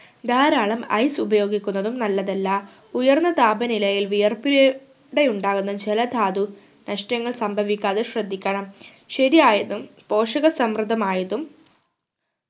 ധാരാളം ice ഉപയോഗിക്കുന്നതും നല്ലതല്ല ഉയർന്ന താപനിലയിൽ വിയർപിലെ ലൂടെ ഉണ്ടാവുന്ന ജലധാതു നഷ്ട്ടങ്ങൾ സംഭവിക്കാതെ ശ്രദ്ധിക്കണം ശരിയായതും പോഷക സമൃദ്ധമായതും